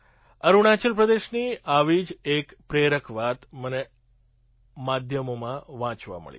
અરુણાચલ પ્રદેશની આવી જ એક પ્રેરક વાત મને માધ્યમોમાં વાંચવા મળી